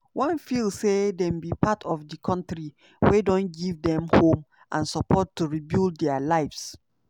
wan feel say dem be part of di kontri wey don give dem home and support to rebuild dia lives.